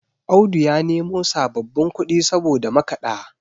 Audu ya nemo sababbin kudi saboda makada